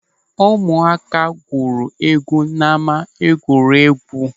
Ụmụaka gwuru egwu n'ama egwuregwu.